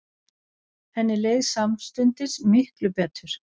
Henni leið samstundis miklu betur.